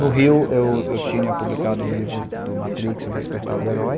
No Rio, eu eu tinha publicado o livro do Matrix, o Despertar do Herói,